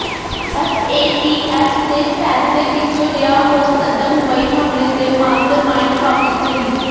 FATF ਦੇ ਫ਼ੈਸਲੇ ਪਿੱਛੋਂ ਰਿਹਾਅ ਹੋ ਸਕਦੈ ਮੁੰਬਈ ਹਮਲੇ ਦੇ ਮਾਸਟਰਮਾਈਂਡ ਹਾਫਿਜ਼ ਸਈਦ